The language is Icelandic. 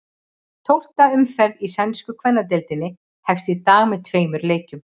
Tólfta umferð í sænsku kvennadeildinni hefst í dag með tveimur leikjum.